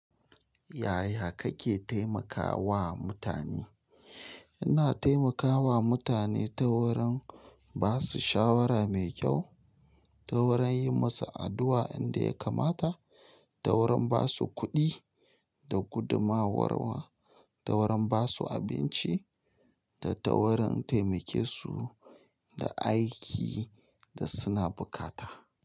Yaya kake taimakawa mutane? Ina taimakawa mutane ta wurin ba su shawara mai kyau, ta wurin yi musu addu'a inda ya kamata, ta wurin ba su kuɗi da gudumowarwa, ta wurin ba su abinci da ta wurin taimake su da aikin da suna bukata.